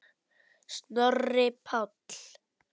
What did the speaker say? Snorri Páll.